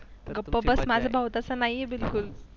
गप्प बस माझा भाऊ तसा नाही आहे बिलकुल